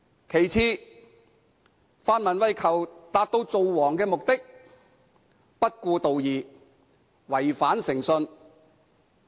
其次，泛民為求達致"造王"的目的，不顧道義，違反誠信。